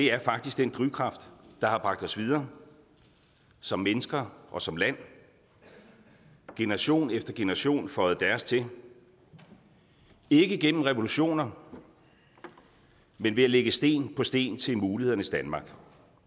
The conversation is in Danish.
er faktisk den drivkraft der har bragt os videre som mennesker og som land generation efter generation føjede deres til ikke gennem revolutioner men ved at lægge sten på sten til mulighedernes danmark